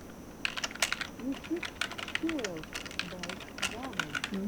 ютьюб фьюэлд бай рамэн